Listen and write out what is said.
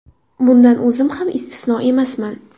Bundan o‘zim ham istisno emasman.